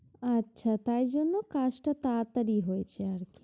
আচ্ছা তাই জন্য কাজটা তাড়াতাড়ি হয়েছে আরকি।